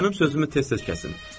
Mənim sözümü tez-tez kəsin.